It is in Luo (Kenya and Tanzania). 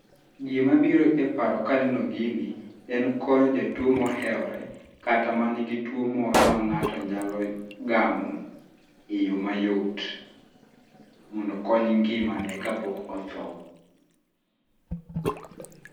Gima biro e paro ka aneno gini, en konyo jatuo mohewore, kata mani gi tuo moro ma ng'ato nyalo gamo eyo mayot mondo okony ngimane kapok otho.